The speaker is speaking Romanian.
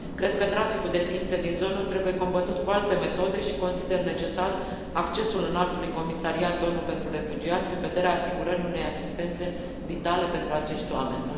Cred că traficul de ființe din zonă trebuie combătut cu alte metode și consider necesar accesul Înaltului Comisariat ONU pentru Refugiați în vederea asigurării unei asistențe vitale pentru acești oameni.